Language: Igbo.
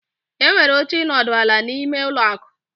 Enwere oche ịnọdụ ala, n'ime ụlọ akụ.